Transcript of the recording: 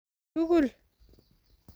tugul